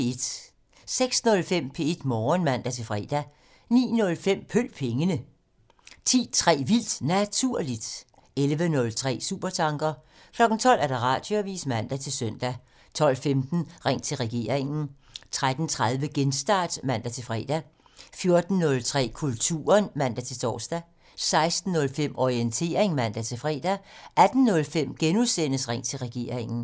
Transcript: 06:05: P1 Morgen (man-fre) 09:05: Følg pengene (man) 10:03: Vildt Naturligt (man) 11:03: Supertanker (man) 12:00: Radioavisen (man-søn) 12:15: Ring til regeringen: 13:30: Genstart (man-fre) 14:03: Kulturen (man-tor) 16:05: Orientering (man-fre) 18:05: Ring til regeringen: *